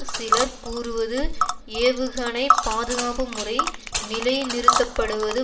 சிலர் கூறுவது ஏவுகணை பாதுகாப்பு முறை நிலைநிறுத்தப்படுவது